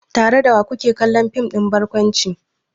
Tare da wa ku ke kallon fim ɗin barkwanci?